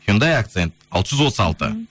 хюндай акцент алты жүз отыз алты